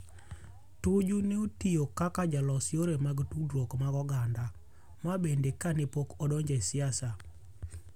Tuju neotio kaka jalos yore mag tudrwok mag oganda. Ma bende kane pok odonjo e siasa.